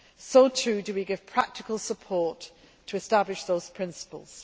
So, too, do we give practical support to establishing those principles.